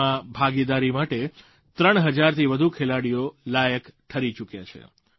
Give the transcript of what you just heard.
તેમાં ભાગીદારી માટે 3000થી વધુ ખેલાડીઓ લાયક ઠરી ચૂક્યા છે